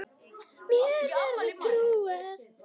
Mér verður trúað.